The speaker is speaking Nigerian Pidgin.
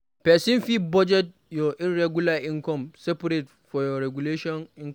Person fit budget your irregular income separate from your regular income